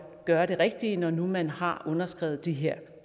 gøre det rigtige når nu man har underskrevet de her